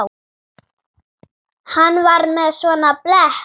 Hann var með svona blett.